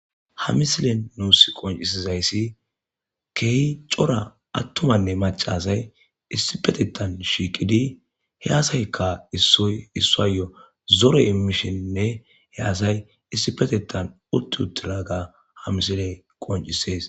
ha misilen nuus qoncisizayssi kehi cora attumanne macasay issi petetan shiiqidi he aasaykka issoy issayo zore immisheninne he asay issipetettan utti uttiraga ha misiley qoncisees